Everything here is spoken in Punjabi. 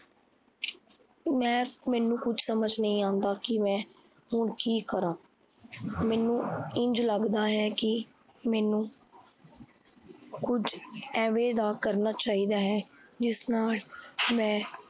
ਮੈ ਮੈਨੂੰ ਕੁਝ ਸਮਜ ਨਹੀਂ ਆਂਦਾ ਕੀ ਮੈ ਹੁਣ ਕੀ ਕਰਾਂ। ਮੈਨੂੰ ਇੰਜ ਲੱਗਦਾ ਹੈ ਕੀ ਮੈਨੂੰ ਕੁਝ ਏਵੈ ਦਾ ਕਰਨ ਚਾਹੀਦਾ ਹੈ। ਜਿਸ ਨਾਲ ਮੈ